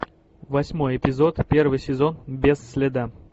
восьмой эпизод первый сезон без следа